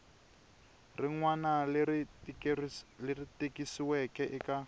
rin wana leri tikisiweke eka